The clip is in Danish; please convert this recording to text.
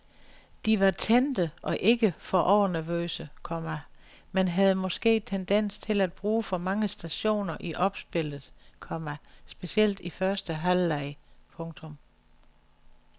De var tændte og ikke for overnervøse, komma men havde måske tendens til at bruge for mange stationer i opspillet, komma specielt i første halvleg. punktum